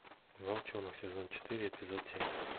волчонок сезон четыре эпизод семь